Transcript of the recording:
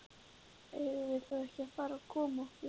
Eigum við þá ekki að fara að koma okkur?